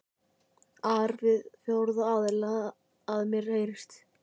ar við fjórða aðila, að mér heyrist.